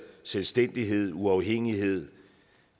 selvstændighed uafhængighed